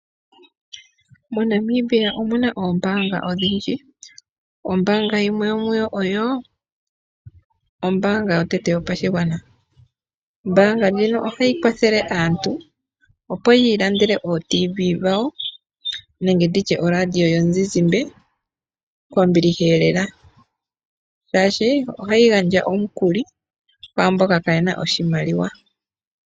MoNamibia omuna oombaanga odhindji. Ombaanga yimwe yomuyo oyo ombaanga yotango yopashigwana. Ombaanga ndjino ohayi kwathele aantu opo yi ilandele o radio yomuzizimba dhawo nenge nditye oRadio yomuzizimba kombiliheelela, shaashi ohayi gandja omukuli kwaamboka kaayena oshimaliwa.